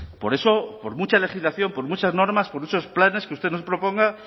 por eso por mucha legislación por muchas normas por muchos planes que usted nos proponga